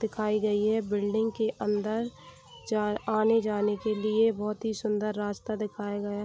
दिखाई गई हे बिल्डिंग के अंदर चार आने-जाने के लिए बहुत ही सुन्दर रास्ता दिखाया गया --